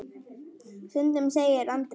Stundum segir Andrea.